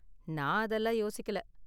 நான் அதெல்லாம் யோசிக்கல.